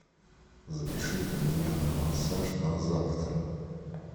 запишите меня на массаж на завтра